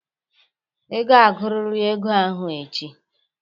Ị ga-agụrịrị ego ahụ echi!